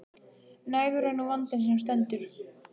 Nægur er nú vandinn sem stendur.